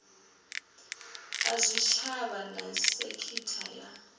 a zwitshavha na sekitha ya